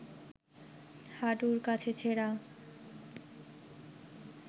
হাঁটুর কাছে ছেঁড়া